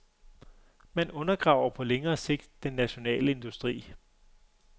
Man undergraver på længere sigt den nationale industri.